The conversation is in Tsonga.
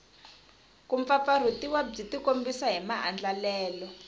kumpfampfarhutiwa byi tikombisa hi maandlalelo